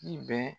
I bɛ